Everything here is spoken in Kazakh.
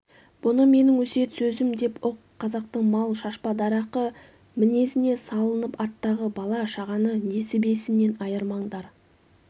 бұны менің өсиет сөзім деп ұқ қазақтың мал шашпа дарақы мінезіне салынып арттағы бала-шағаны несібесінен айырмаңдар